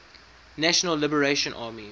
national liberation army